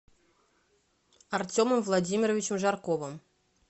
артемом владимировичем жарковым